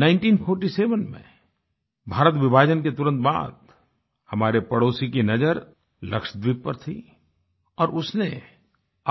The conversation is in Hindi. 1947 में भारत विभाजन के तुरंत बाद हमारे पड़ोसी की नज़र लक्षद्वीप पर थी और उसने